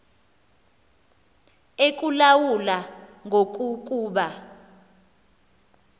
ekulawula ngoku kuba